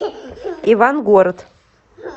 ивангород